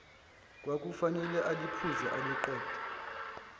kwakufanele aliphuze aliqede